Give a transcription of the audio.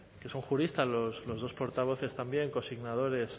que son juristas los dos portavoces también consignadores